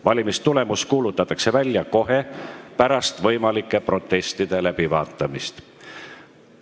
Valimistulemus kuulutatakse välja kohe pärast võimalike protestide läbivaatamist.